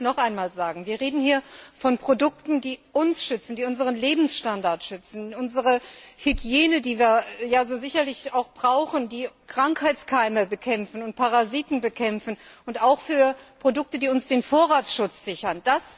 Ich möchte es noch einmal sagen Wir reden hier von Produkten, die uns und unseren Lebensstandard schützen, unsere Hygiene, die wir sicherlich auch brauchen, die Krankheitskeime und Parasiten bekämpfen, und auch von Produkten, die uns den Vorratsschutz sichern.